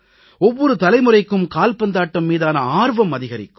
ஒவ்வொரு தலைமுறைக்கும் கால்பந்தாட்டம் மீதான ஆர்வம் அதிகரிக்கும்